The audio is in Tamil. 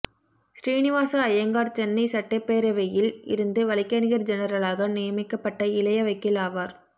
ஸ்ரீனிவாச ஐயங்கார் சென்னை சட்டப்பேரவையில் இருந்து வழக்கறிஞர் ஜெனரலாக நியமிக்கப்பட்ட இளைய வக்கீல் ஆவார்